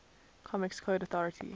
comics code authority